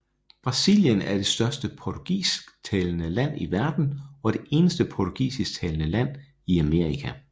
Brasilien er det største portugisisktalende land i verden og det eneste portugisisktalende land i Amerika